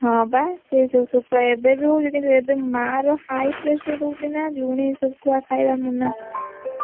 ହଁ ବା ସେ ଯଉ ଶୁଖୁଆ ଏବେବି ହଉଛି କିନ୍ତୁ ଏବେ ମାର high pressure ରହୁଛିନା ଲୁଣି ଶୁଖୁଆ ଖାଇବା ମନା।